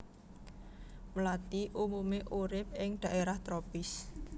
Mlathi umumé urip ing dhaérah tropis